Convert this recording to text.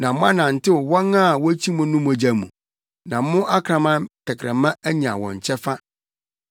na moanantew wɔn a wokyi mo no mogya mu na mo akraman tɛkrɛma anya wɔn kyɛfa.”